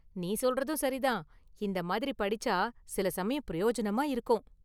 நீ சொல்றதும் சரிதான், இந்த மாதிரி படிச்சா சில சமயம் பிரயோஜனமா இருக்கும்.